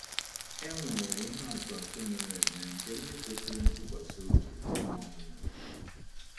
E nwere ihe atụ atụ mere eme nke ndị kwesịrị ntụkwasị obi ruo ọnwụ.